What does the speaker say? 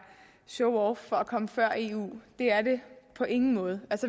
showoff for at komme før eu det er det på ingen måde